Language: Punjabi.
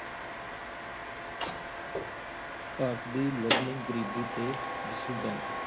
ਭਾਰਤ ਦੀ learning ਗ਼ਰੀਬੀ ਤੇ district bank